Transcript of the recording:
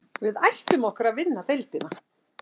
Við ætlum okkur að vinna deildina